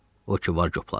O ki var, copladım.